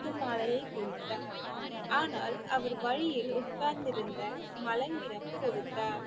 முத்து மாலையைக் கொடுத்தார் ஆனால் அவர் வழியில் உட்கார்ந்திருந்த மலங்கிரம் கொடுத்தார்